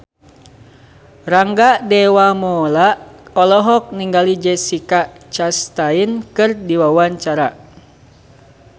Rangga Dewamoela olohok ningali Jessica Chastain keur diwawancara